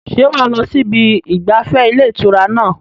ṣé wà á lọ sí ibi ìgbafẹ́ ilé ìtura náà?